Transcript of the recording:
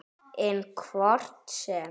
En hvort sem